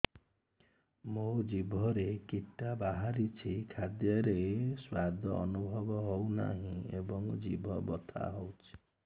ମୋ ଜିଭରେ କିଟା ବାହାରିଛି ଖାଦ୍ଯୟରେ ସ୍ୱାଦ ଅନୁଭବ ହଉନାହିଁ ଏବଂ ଜିଭ ବଥା ହଉଛି